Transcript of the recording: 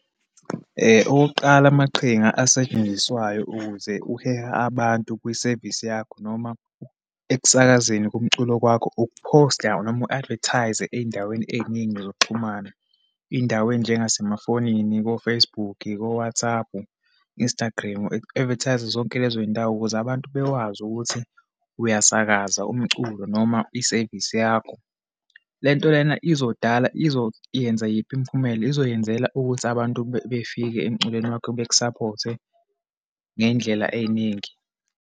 Okokuqala, amaqhinga asetshenziswayo ukuze uhehe abantu kwisevisi yakho, noma ekusakazeni komculo kwakho, ukuphosta noma uku-advertise-a eyindaweni eyiningi zokuxhumana. Iyindawo enjengasemafonini, ko-Facebook, ko-WhatsApp, Instagram. U-advertise-a kuzo zonke lezo yindawo ukuze abantu bekwazi ukuthi uyasakaza umculo noma isevisi yakho. Le nto lena izodala, izoyenza yiphi imiphumela? Izoyenzela ukuthi abantu befike emculweni wakha beku-support-e ngeyindlela eyiningi.